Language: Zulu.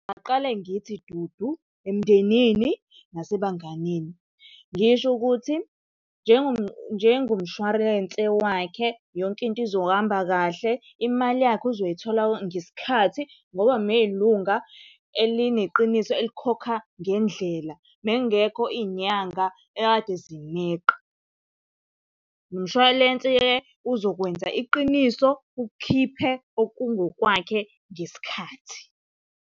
Ngingaqale ngithi dudu emndenini nasebanganini. Ngisho ukuthi njengomshwarense wakhe yonke into izohamba kahle, imali yakhe uzoyithola ngesikhathi ngoba umeyilunga elineqiniso elikhokha ngendlela, bekungekho iy'nyanga ekade zimeqa. Nomshwalense-ke uzokwenza iqiniso ukhiphe okungokwakhe ngesikhathi.